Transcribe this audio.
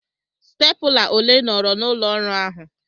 Stepụla ole nọọrọ n'ụlọ ọrụ ahụ?